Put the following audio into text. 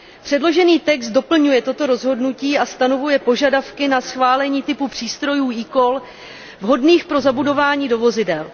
Předložený text doplňuje toto rozhodnutí a stanovuje požadavky na schválení typu přístrojů eCall vhodných pro zabudování do vozidel.